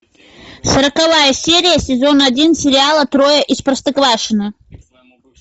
сороковая серия сезон один сериала трое из простоквашино